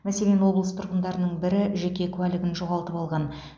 мәселен облыс тұрғындарының бірі жеке куәлігін жоғалтып алған